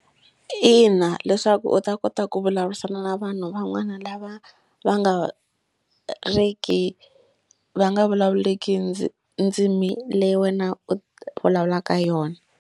Ina leswaku u ta kota ku vulavurisana na vanhu van'wana lava va nga ri ki va nga vulavuleki ndzimi leyi wena u vulavulaka yona.